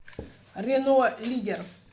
рено лидер